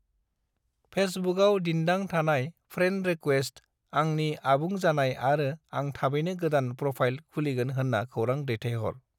फेसबुकाव दिन्दां थानाय friend request, आंनि आबुं जानाय आरो आं थाबैनो गोदान प्रफाइल खुलिगोन होन्ना खौरां दैथायहर।